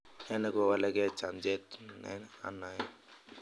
ne negowalagen chamjamet ne anae?